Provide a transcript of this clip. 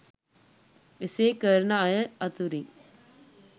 එසේ කරන අය අතුරින්